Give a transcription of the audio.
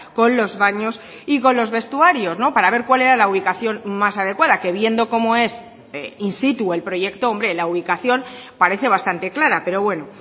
con los baños y con los vestuarios para ver cuál era la ubicación más adecuada que viendo como es in situ el proyecto hombre la ubicación parece bastante clara pero bueno